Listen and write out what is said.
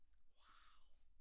Wow